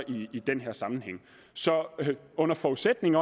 i den her sammenhæng så under forudsætning